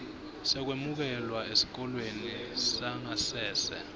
sekwemukelwa esikolweni sangasese